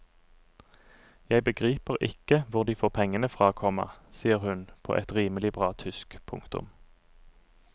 Jeg begriper ikke hvor de får pengene fra, komma sier hun på et rimelig bra tysk. punktum